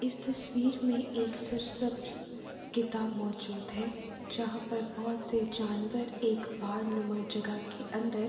اس تصویر مے ایک کتاب موجود ہے جہا پر بہت سے جانور ایک